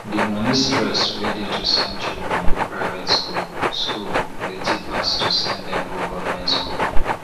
di money stress wey dey to send children go private school school plenty pass to send dem go goverment school